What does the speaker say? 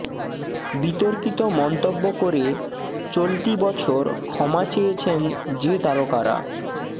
বিতর্কিত মন্তব্য করে চলতি বছর ক্ষমা চেয়েছেন যে তারকারা